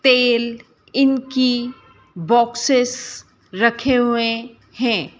तेल इनकी बॉक्सेस रखें हुए हैं।